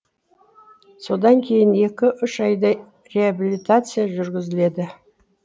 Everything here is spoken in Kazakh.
содан кейін екі үш айдай реабилитация жүргізіледі